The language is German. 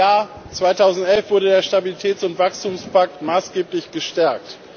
Im Jahr 2011 wurde der Stabilitäts und Wachstumspakt maßgeblich gestärkt.